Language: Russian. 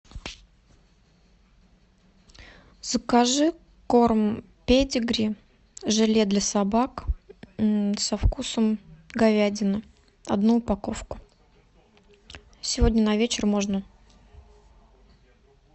закажи корм педигри желе для собак со вкусом говядины одну упаковку сегодня на вечер можно